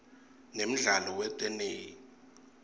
nemdlalo weteney